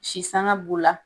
Si sanga b'u la